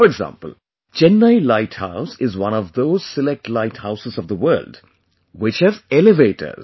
For example, Chennai light house is one of those select light houses of the world which have elevators